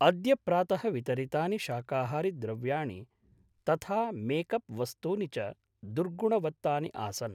अद्य प्रातः वितरितानि शाकाहारिद्रव्याणि तथा मेक् अप् वस्तूनि च दुर्गुणवत्तानि आसन्।